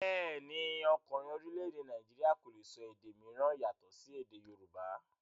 Bẹ́ẹ̀ni, ọkùnrin orílẹ̀-èdè Nàìjíríà kò le sọ èdè mìíràn yàtọ̀ sí èdè yorùbá.